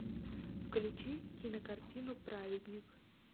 включи кинокартину праведник